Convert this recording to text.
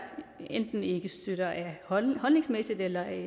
enten ikke støtter holdningsmæssigt eller af